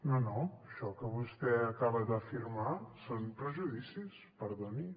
no no això que vostè acaba d’afirmar són prejudicis perdoni